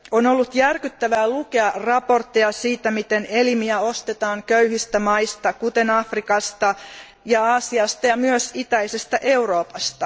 On ollut järkyttävää lukea raportteja siitä, miten elimiä ostetaan köyhistä maista, kuten Afrikasta, Aasiasta ja myös itäisestä Euroopasta.